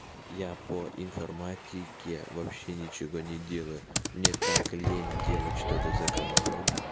я по информатике вообще ничего не делаю мне так лень делать что-то за компом